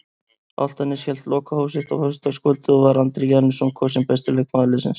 Álftanes hélt lokahóf sitt á föstudagskvöldið og var Andri Janusson kosinn besti leikmaður liðsins.